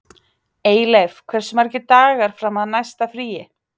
Eyleif, hversu margir dagar fram að næsta fríi?